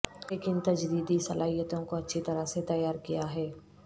لیکن تجدیدی صلاحیتوں کو اچھی طرح سے تیار کیا ہے